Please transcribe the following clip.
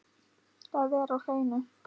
Það er á hreinu.